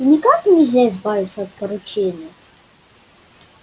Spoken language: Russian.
и никак нельзя избавиться от поручения